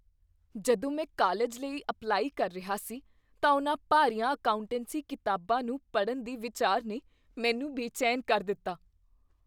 ਜਦੋਂ ਮੈਂ ਕਾਲਜ ਲਈ ਅਪਲਾਈ ਕਰ ਰਿਹਾ ਸੀ ਤਾਂ ਉਹਨਾਂ ਭਾਰੀਆਂ ਅਕਾਉਂਟੈਂਸੀ ਕਿਤਾਬਾਂ ਨੂੰ ਪੜ੍ਹਨ ਦੇ ਵਿਚਾਰ ਨੇ ਮੈਨੂੰ ਬੇਚੈਨ ਕਰ ਦਿੱਤਾ